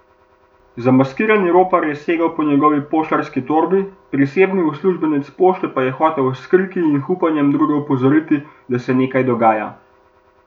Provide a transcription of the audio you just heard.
Zamaskirani ropar je segel proti njegovi poštarski torbi, prisebni uslužbenec pošte pa je hotel s kriki in hupanjem druge opozoriti, da se nekaj dogaja.